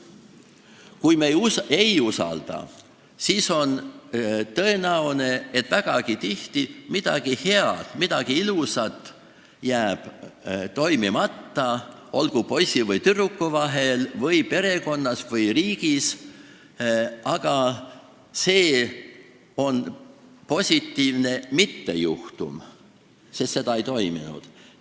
Kui me ei usalda, siis on tõenäoline, et vägagi tihti jääb midagi head, midagi ilusat toimumata, olgu siis poisi ja tüdruku vahel või perekonnas või riigis, aga see on positiivne mittejuhtum, sest seda ei toimunud.